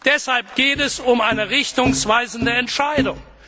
Deshalb geht es um eine richtungsweisende Entscheidung.